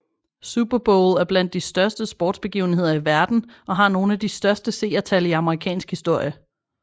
Super Bowl er blandt de største sportsbegivenheder i verden og har nogle af de største seertal i amerikansk historie